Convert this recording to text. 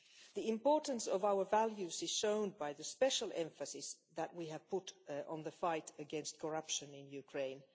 The importance of our values is shown by the special emphasis that we have put on the fight against corruption in Ukraine.